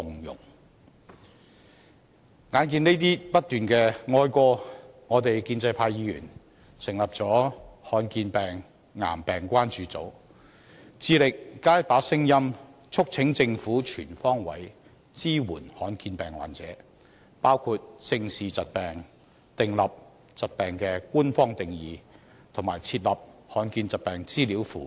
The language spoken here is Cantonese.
一再面對這些哀歌，建制派議員成立了"罕見病癌病關注組"，致力加上一把聲音，促請政府全方位支援罕見疾病患者，包括正視疾病、訂立疾病的官方定義及設立罕見疾病資料庫。